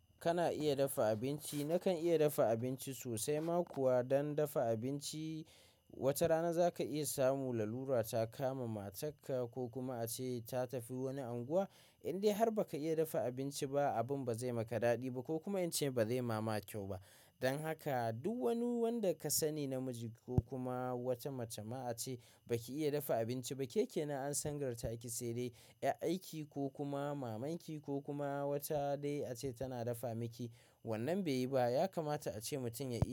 Kana iya dafa abinci? Na kan iya dafa abinci sosai ma kuwa dan dafa abinci wata rana za ka iya samu lalura ta kama matarka ko kuma ace ta tafi wani anguwa in dai har baka iya dafa abinci ba abun ba zai maka daɗi ba ko kuma in ce ba zai ma ma kyau ba. Don haka duk wani wanda ka sani namiji ko kuma wata mace ma ace baki iya dafa abinci ba ke kenan an sangartaki sai dai 'yar aiki ko kuma mamanki ko kuma wata dai ace tana dafa miki. Wannan bai yi ba. Ya kamata ace mutum ya.